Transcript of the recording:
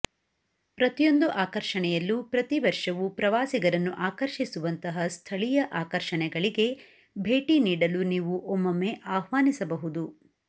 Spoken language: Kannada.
ಪ್ರತಿಯೊಂದು ಆಕರ್ಷಣೆಯಲ್ಲೂ ಪ್ರತಿ ವರ್ಷವೂ ಪ್ರವಾಸಿಗರನ್ನು ಆಕರ್ಷಿಸುವಂತಹ ಸ್ಥಳೀಯ ಆಕರ್ಷಣೆಗಳಿಗೆ ಭೇಟಿ ನೀಡಲು ನೀವು ಒಮ್ಮೊಮ್ಮೆ ಆಹ್ವಾನಿಸಬಹುದು